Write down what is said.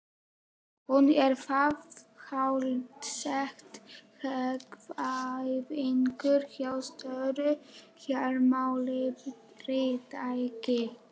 Hún er þar háttsett, hagfræðingur hjá stóru fjármálafyrirtæki.